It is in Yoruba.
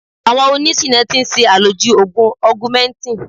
Àwọn oní ṣìná ti ń ṣe àlòjù Ògùn Ọgumẹntìn.